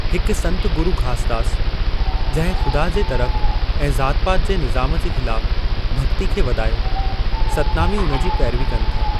हिक संत गुरू घासदास जंहिं ख़ुदा जे तरफ़ ऐं ज़ात पात जे निज़ाम जे ख़िलाफ़ु भक्ती खे वधायो, सतनामी उनजी पेरवी कनि था।